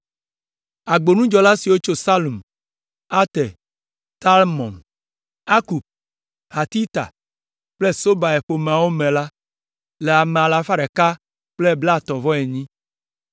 Agbonudzɔla siwo tso Salum, Ater, Talmon, Akub, Hatita kple Sobai ƒe ƒomeawo me la le ame alafa ɖeka blaetɔ̃-vɔ-enyi (138).